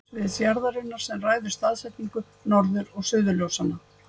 Það er því eðli segulsviðs jarðarinnar sem ræður staðsetningu norður- og suðurljósanna.